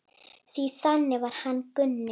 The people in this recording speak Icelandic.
Því þannig var hann Gunni.